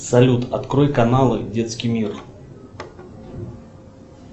салют открой каналы детский мир